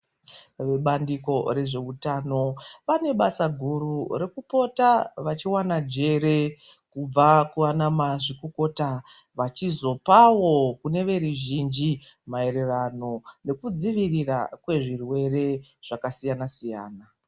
Vebandiko rezveutano, vane basa guru rekupota vechiwana njere kubva kunaana mazvikokota vachizopawo kune veruzhinzi maererano nekudzivirirwa kwezvirwere zvakasiyana-siyana.